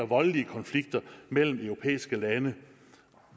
voldelige konflikter mellem europæiske lande